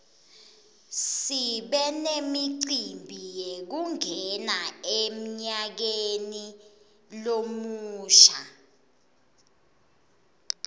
sibe nemicimbi yekungena emnyakeni lomusha